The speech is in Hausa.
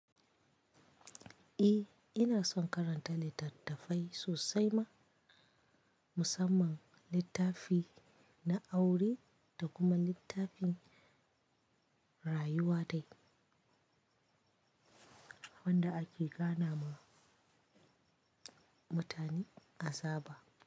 Eh ina son karanta littattafai sosai ma, musamman littafi na aure da kuma littafin rayuwa dai wanda ake gane ma mutane asaba.